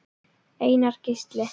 Einar Gísli.